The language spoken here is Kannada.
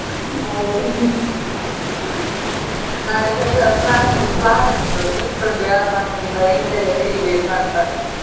ಹೌದ್ . ನಾಳೆ ಕದ್ವಾ plan plan ಉಂಟು, list ಉಂಟು ಯಾರ ಮನೆಯಿಂದ ಎಂತ ಎಲ್ಲಾ ತೆಗಿಬೇಕು ಅಂತ.